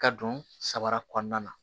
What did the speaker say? Ka don samara kɔnɔna na